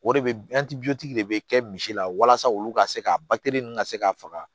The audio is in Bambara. O de bɛ de bɛ kɛ misi la walasa olu ka se ka batiri ninnu ka se ka faga